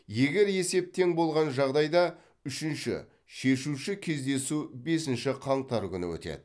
егер есеп тең болған жағдайда үшінші шешуші кездесу бесінші қаңтар күні өтеді